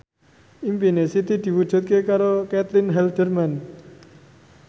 impine Siti diwujudke karo Caitlin Halderman